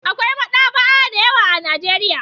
Akwai maɗaba'a da yawa a Najeiya.